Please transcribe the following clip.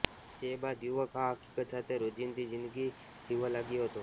જે બાદ યુવક આ હકીકત સાથે રોજિંદી જિંદગી જીવવા લાગ્યો હતો